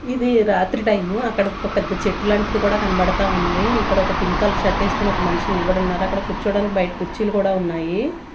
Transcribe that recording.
ఇది రాత్రి టైము అక్కడ ఒక పెద్ద చెట్టు లాంటిది కూడా కనపడతా ఉంది ఇక్కడ ఒక పింక్ కలర్ షర్ట్ వేసుకొని ఒక మనిషి నిలబడి ఉన్నారు అక్కడ కూర్చోడానికి బయట కుర్చీలు కూడా ఉన్నాయి.